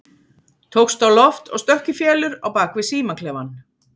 Tókst á loft og stökk í felur á bak við símaklefann.